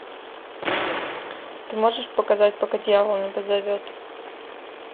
ты можешь показать пока дьявол не позовет